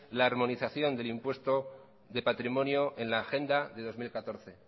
la armonización del impuesto de patrimonio en la agenda de dos mil catorce